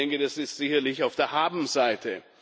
Ich denke, das ist sicherlich auf der Habenseite.